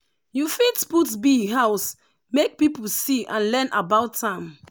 you fit put bee house make people see and learn about am.